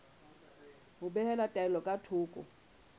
ho behela taelo ka thoko